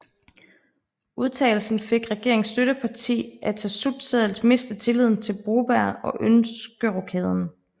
Udtalelsen fik regeringens støtteparti Atassut til at miste tilliden til Broberg og ønske rokaden